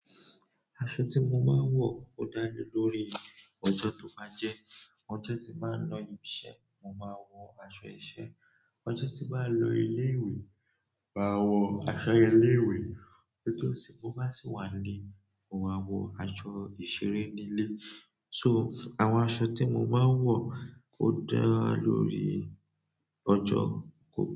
Aṣọ tí mo máa ń wọ ó dá lé lórí ọjọ́ tó bá jẹ́. Ojo ti n ba lo ibi iṣẹ́, mo maa n wo aṣọ iṣẹ́ ọjọ́ tí n bá lọ ilé-ìwé, màa wọ aṣọ ilé-ìwé. Ojo tí mo bá sì wà nílé, mo máa wọ aṣọ ìṣeré nílé. So, àwọn aṣọ tí mo máa ń wọ ó dá lórí ọjọ́ gbogbo.